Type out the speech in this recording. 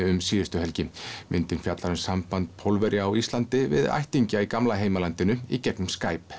um síðustu helgi myndin fjallar um samband Pólverja á Íslandi við ættingja í gamla heimalandinu í gegnum Skype